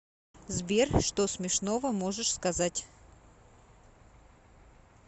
сбер что смешного можешь сказать